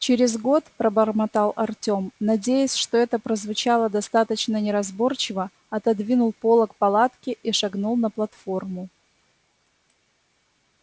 через год пробормотал артем надеясь что это прозвучало достаточно неразборчиво отодвинул полог палатки и шагнул на платформу